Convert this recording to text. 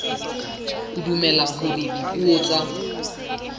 o dumela hore dipuo tsa